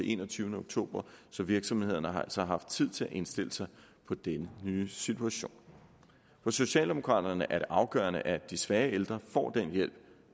enogtyvende oktober i så virksomhederne har altså haft tid til at indstille sig på den nye situation for socialdemokraterne er det afgørende at de svage ældre får den hjælp